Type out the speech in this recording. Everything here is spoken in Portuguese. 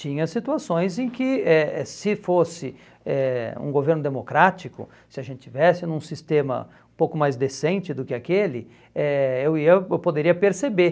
Tinha situações em que, eh se fosse eh um governo democrático, se a gente estivesse num sistema um pouco mais decente do que aquele, eh eu ia eu poderia perceber.